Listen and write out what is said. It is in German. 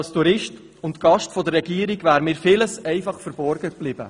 Als Tourist und Gast der jeweiligen Regierung wäre mir vieles verborgen geblieben.